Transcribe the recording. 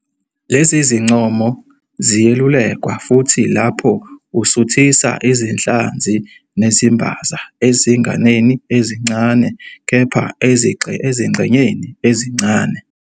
Lezi zincomo ziyelulekwa futhi lapho usuthisa izinhlanzi nezimbaza ezinganeni ezincane, kepha ezingxenyeni ezincane.